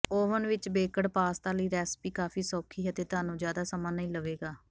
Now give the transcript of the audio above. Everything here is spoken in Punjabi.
ਓਵਿਨ ਵਿੱਚ ਬੇਕਡ ਪਾਸਤਾ ਲਈ ਰੈਸਿਪੀ ਕਾਫ਼ੀ ਸੌਖੀ ਹੈ ਅਤੇ ਤੁਹਾਨੂੰ ਜ਼ਿਆਦਾ ਸਮਾਂ ਨਹੀਂ ਲਵੇਗਾ